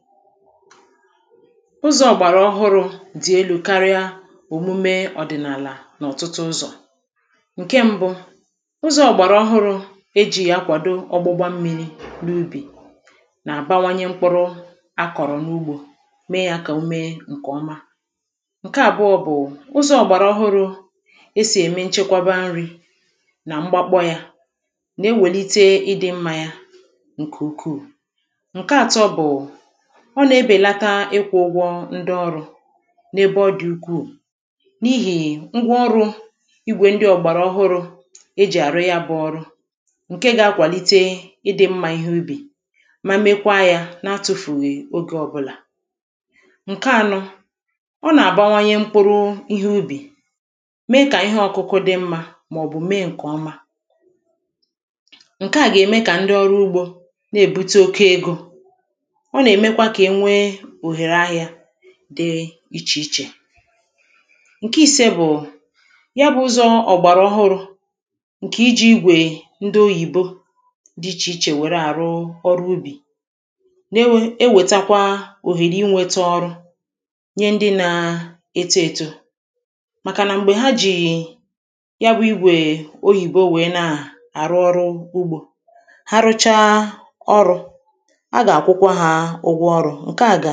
Ụzọ̄ ọ̀gbàràọhụrụ̄ dị̀ elū karịa òmume ọ́dị̀nàlà n'ọ̀tụtụ ụzọ̀ Ǹke m̄bụ̄, ụzọ ọ̀gbàràọhụrụ̄, e jì yà akwàdo ọ̀gbụgba ḿmīrī n'ubì nà-àbawanye mkpụrụ a kọ̀rọ̀ n'ụgbọ̄ mee ya kà ọ mee ǹkè ọma Ǹke àbụọ̄ bụ̀ ụzọ̄ ọ̀gbàràọhụrụ̄ e sì èmé nchekwaba nrī mgbakpọ yā nà-ewèlite ịdị̄ mmā ya nke ukwuu Ǹke ātọ̄ bụ̀ ọ nà-ebèlata ịkwụ̄ ụgwọ ndị ọrụ n'ebe ọ dị̀ ukwuù, n'ihì ngwaọrụ ígwè ndị ọ̀gbàràọhụrụ e jì àrụ ya bụ ọrụ ǹke ga-akwàlite ịdị̄ m̄mā ihe úbì ma mekwaa yā n'atụfùghì ogē ọbụlà Ǹke ānọ̄ ọ nà-àbawanye mkpụrụ ihe ubì mee kà ihe ọkụkụ dị mmā màọ̀bụ̀ mee ǹkè ọma. ǹke à gà-ème kà ndị ọrụ ugbō na-èbute oke ego ọ nà-èmekwa ka e nwee òhèrè ahịā dị ichè ichè ǹke īsē bụ̀ ya bụ̄ ụzọ̄ ọ̀gbàràọhụrụ̄ ǹkè ijī igwè ndị oyìbo dị̄ ichè ichè wère àrụ ọrụ ubì dị̄ ichè ichè wère àrụ ọrụ ubì nyé ndị na-eto ētō màkà nà m̀gbè ha jì ya bụ̄ igwè oyìbo wèe na-àrụ ọrụ ugbō ha rụchaa ọrụ̄ a gà-àkwụkwa hā ụgwọ̄, ǹke à gà